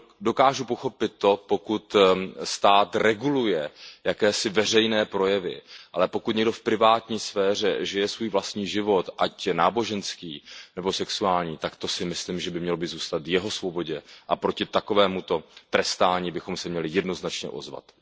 Dokáži pochopit to, pokud stát reguluje jakési veřejné projevy, ale pokud někdo v privátní sféře žije svůj vlastní život, ať náboženský nebo sexuální, tak to si myslím, že by mělo zůstat v jeho svobodě, a proti takovémuto trestání bychom se měli jednoznačně ozvat.